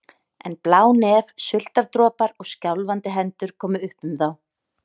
En blá nef, sultardropar og skjálfandi hendur komu upp um þá.